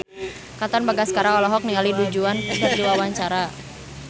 Katon Bagaskara olohok ningali Du Juan keur diwawancara